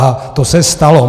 A to se stalo.